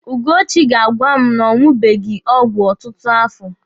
Ugochi ga-agwa m na ọ ṅụbeghị ọgwụ ọtụtụ afọ.